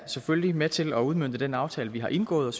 selvfølgelig er med til at udmønte den aftale vi har indgået og